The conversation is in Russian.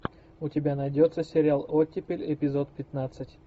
у тебя найдется сериал оттепель эпизод пятнадцать